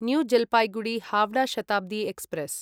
new Jalpaiguri Howrah Shatabdi express